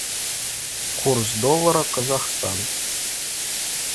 курс доллара казахстан